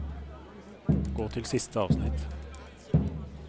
Gå til siste avsnitt